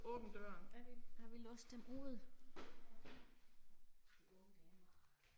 Er vi, har vi låst dem ude, de unge damer